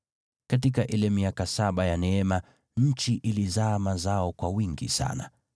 Katika ile miaka saba ya neema nchi ilizaa mazao kwa wingi sana.